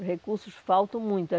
Os recursos faltam muito.